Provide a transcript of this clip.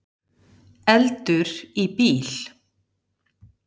Eldur í bíl